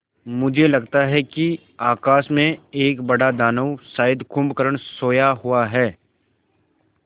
मुझे लगता है कि आकाश में एक बड़ा दानव शायद कुंभकर्ण सोया हुआ है